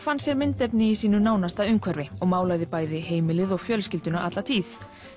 fann sér myndefni í sínu nánasta umhverfi og málaði bæði heimilið og fjölskylduna alla tíð